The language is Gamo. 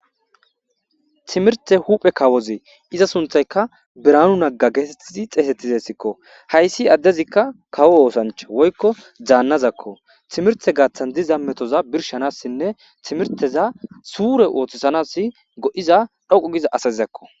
Timirte huphe kawozee iza sunthayka biranu naga geetettizi xeesettizessikko hayssi addezikka kawo oosancha woykko zaannazakko timirte gaaththan diza metoza birshanassinne timirteza suure ooththisanass go'iza dhoqu giza asazizakko.